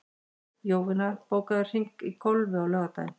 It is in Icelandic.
Jovina, bókaðu hring í golf á laugardaginn.